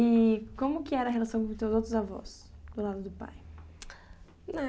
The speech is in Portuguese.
E como que era a relação com os teus outros avós, do lado do pai? Eh,